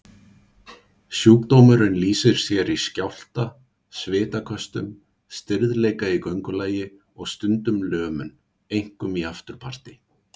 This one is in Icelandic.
Sjúkdómurinn lýsir sér í skjálfta, svitaköstum, stirðleika í göngulagi og stundum lömun, einkum í afturparti.